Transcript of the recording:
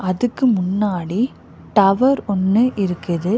அதுக்கு முன்னாடி டவர் ஒன்னு இருக்குது.